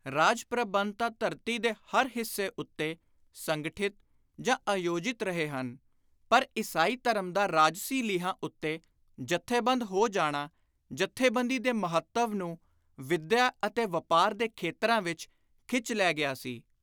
ਰਾਜ ਪ੍ਰਬੰਧ ਤਾਂ ਧਰਤੀ ਦੇ ਹਰ ਹਿੱਸੇ ਉੱਤੇ ਸੰਗਠਿਤ ਜਾਂ ਆਯੋਜਿਤ ਰਹੇ ਹਨ ਪਰ ਈਸਾਈ ਧਰਮ ਦਾ ਰਾਜਸੀ ਲੀਹਾਂ ਉੱਤੇ ਜਥੇਬੰਦ ਹੋ ਜਾਣਾ ਜਥੇਬੰਦੀ ਦੇ ਮਹੱਤਵ ਨੂੰ ਵਿੱਦਿਆ ਅਤੇ ਵਾਪਾਰ ਦੇ ਖੇਤਰਾਂ ਵਿਚ ਖਿੱਚ ਲੈ ਗਿਆ ਸੀ।